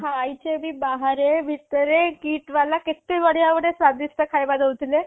ଖାଇଚେ ଭି ବାହାରେ ଭିତରେ KIIT ବାଲା କେତେ ବଢ଼ିଆ ବଢ଼ିଆ ସ୍ବାଦିଷ୍ଠ ଖାଇବା ଦୋଉଥିଲେ